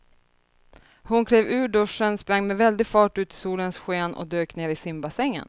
Hon klev ur duschen, sprang med väldig fart ut i solens sken och dök ner i simbassängen.